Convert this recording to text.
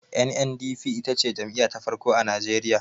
NNDP ita ce jam'iya ta farko a najeriya